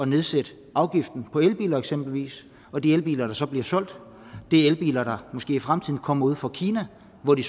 nedsætte afgiften på elbiler eksempelvis når de elbiler der så bliver solgt er elbiler der måske i fremtiden kommer fra kina hvor de